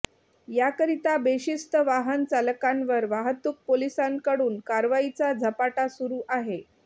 याकरिता बेशिस्त वाहन चालकांवर वाहतूक पोलिसांकडून कारवाईचा झपाटा सुरू आहे